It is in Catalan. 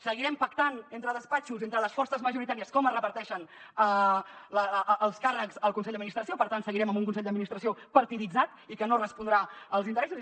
seguirem pactant entre despatxos entre les forces majoritàries com es reparteixen els càrrecs al con·sell d’administració per tant seguirem amb un consell d’administració partiditzat i que no respondrà als interessos